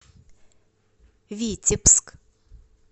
витебск